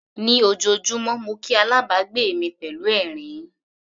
Ní ojoojúmọ́ mo kí alábàgbé mi pẹ̀lú ẹ̀rín.